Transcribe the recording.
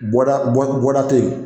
Bɔda tɛ yen